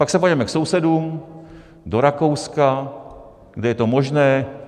Pak se podíváme k sousedům do Rakouska, kde je to možné.